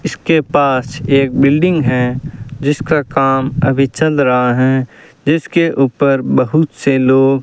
इसके पास एक बिल्डिंग है जिसका काम अभी चल रहा हैं जिसके ऊपर बहुत से लोग --